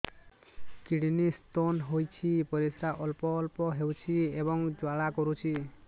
kidney stone ହୋଇଛି ପରିସ୍ରା ଅଳ୍ପ ଅଳ୍ପ ହେଉଛି ଏବଂ ଜ୍ୱାଳା କରୁଛି